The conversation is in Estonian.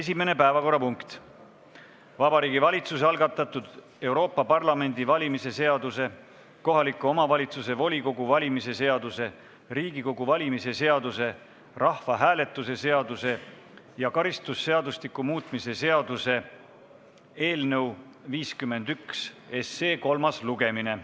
Esimene päevakorrapunkt on Vabariigi Valitsuse algatatud Euroopa Parlamendi valimise seaduse, kohaliku omavalitsuse volikogu valimise seaduse, Riigikogu valimise seaduse, rahvahääletuse seaduse ja karistusseadustiku muutmise seaduse eelnõu 51 kolmas lugemine.